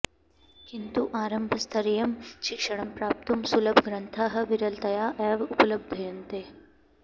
किन्तु आरम्भस्तरीयं शिक्षणं प्राप्तुं सुलभग्रन्थाः विरलतया एव उपलभ्यन्ते